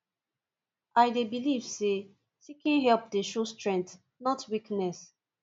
i dey believe say seeking help dey show strength not weakness